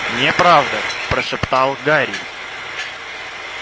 неправда прошептал гарри